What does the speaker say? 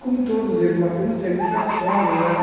Como todos eles, mas temos serviços que é na sombra, né?